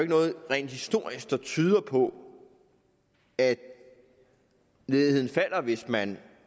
noget rent historisk der tyder på at ledigheden falder hvis man